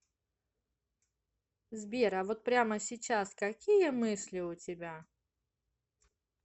сбер а вот прямо сейчас какие мысли у тебя